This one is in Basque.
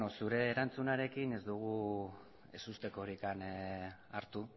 zure erantzunarekin ez dugu ez ustekorik hartu